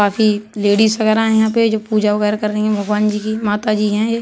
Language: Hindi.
काफी लेडिस वगैरह है यहां पे जो पूजा वगैरह कर रही है भगवान जी की। माता जी है ये।